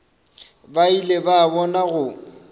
ba ile ba bona go